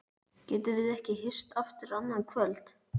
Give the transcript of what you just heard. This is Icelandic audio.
Getum við ekki hist aftur annað kvöld?